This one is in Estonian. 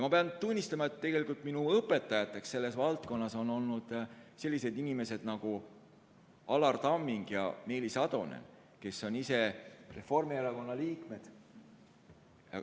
Pean tunnistama, et minu õpetajateks selles valdkonnas on olnud sellised inimesed nagu Alar Tamming ja Meelis Atonen, kes on ise Reformierakonna liikmed.